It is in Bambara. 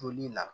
Toli la